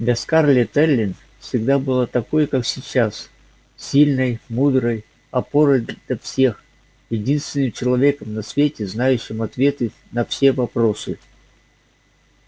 для скарлетт эллин всегда была такой как сейчас сильной мудрой опорой для всех единственным человеком на свете знающим ответы на все вопросы